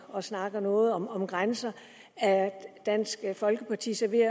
og snakker noget om om grænser er dansk folkeparti så ved